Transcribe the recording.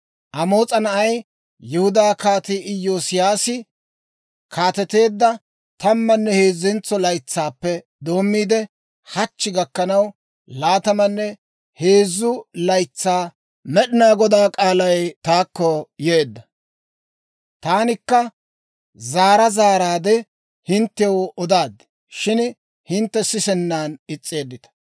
«Amoos'a na'ay, Yihudaa Kaatii Iyoosiyaasi kaateteedda tammanne heezzentso laytsaappe doommiide, hachchi gakkanaw, laatamanne heezzu laytsaa Med'inaa Godaa k'aalay taakko yeedda. Taanikka zaara zaaraadde hinttew odaad; shin hintte sisennan is's'eeddita.